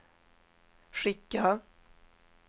skicka